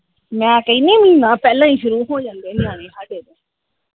ਮੈ ਕਹਿੰਦੀ ਮਹੀਨਾ ਪਹਿਲਾ ਈ ਸ਼ੁਰੂ ਹੋ ਜਾਂਦੇ ਨਿਆਣੇ ਸਾਡੇ ਤੇ।